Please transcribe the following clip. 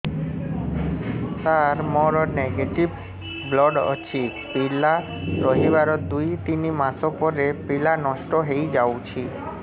ସାର ମୋର negative blood ଅଛି ପିଲା ରହିବାର ଦୁଇ ତିନି ମାସ ପରେ ପିଲା ନଷ୍ଟ ହେଇ ଯାଉଛି